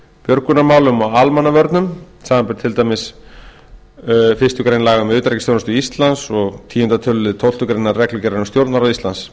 björgunarmálum og almannavörnum samanber til dæmis fyrstu grein laga um utanríkisþjónustu íslands númer þrjátíu og níu nítján hundruð sjötíu og eins og tíunda tölulið tólftu grein reglugerðar um stjórnarráð íslands